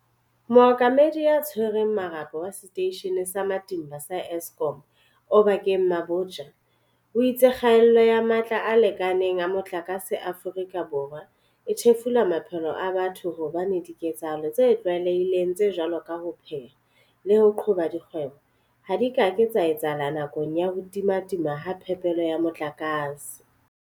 Mookamedi ya Tshwereng Mole po wa Seteishene sa Matimba sa Eskom Oba keng Mabotja o itse kgaello ya matla a lekaneng a motlakase Aforika Borwa e thefula maphelo a batho hobane diketsahalo tse tlwaele hileng tse jwalo ka ho pheha le ho qhoba dikgwebo ha di ka ke tsa etsahala nakong ya ho timatima ha phepelo ya motlakase.